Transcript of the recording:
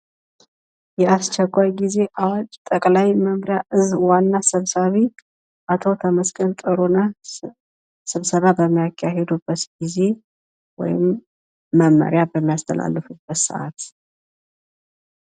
የአስቸኳይ ጊዜ አዋጅ ጠቅላይ መምሪያ እዝ ዋና ሰብሳቢ አቶ ተመስገን ጥሩነህ ስብሰባ በሚያካሂዱበት ጊዜ ወይም መመሪያ በሚያስተላልፉበት ሰዓት።